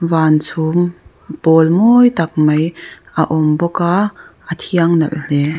van chhum pawl mawi tak mai a awm bawk a a thiang nalh hle.